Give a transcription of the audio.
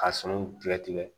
Ka sɔɔni tigɛ tigɛ